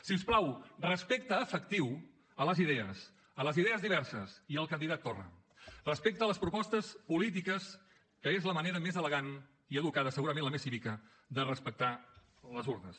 si us plau respecte efectiu a les idees a les idees diverses i al candidat torra respecte a les propostes polítiques que és la manera més elegant i educada segurament la més cívica de respectar les urnes